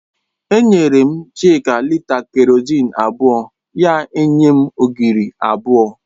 Enyere m Chika lịta kerọzin abụọ, ya enye m ogiri abụọ